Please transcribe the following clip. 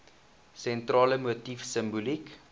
sentrale motief simboliek